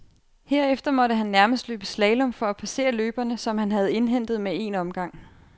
Herefter måtte han nærmest løbe slalom for at passere løbere, som han havde indhentet med en omgang.